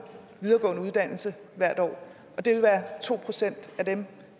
videregående uddannelse hvert år og det vil være to procent af dem